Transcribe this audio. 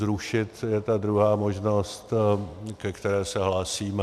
Zrušit je ta druhá možnost, ke které se hlásíme.